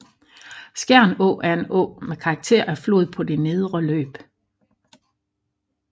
Skjern Å er en å med karakter af flod på det nedre løb